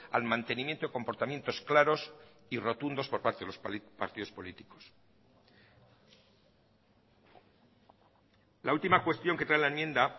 al mantenimiento y comportamientos claros y rotundos por parte de los partidos políticos la última cuestión que trae la enmienda